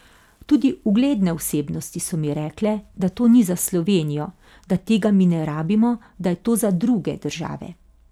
Tudi ugledne osebnosti so mi rekle, da to ni za Slovenijo, da tega mi ne rabimo, da je to za druge države.